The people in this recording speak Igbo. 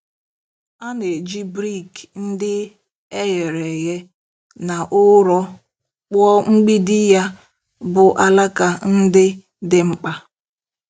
A na-eji brik ndị e ghere eghe na ụrọ kpụọ mgbidi ya bụ́ alaka ndị dị mkpa.